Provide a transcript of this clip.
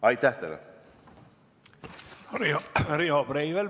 Riho Breivel, palun!